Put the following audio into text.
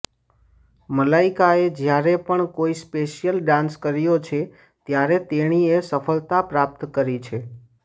મલાઈકાએ જ્યારે પણ કોઈ સ્પેશિયલ ડાન્સ કર્યો છે ત્યારે તેણીએ સફળતા પ્રાપ્ત કરી છે